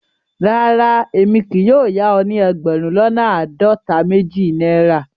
Rárá, èmi kì yóò yà o ni ẹgbérùn lọ́nà aádọ́ta-méjì Naira.